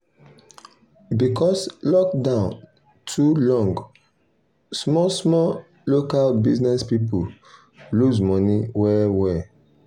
because lockdown too long small small local business people lose money well well.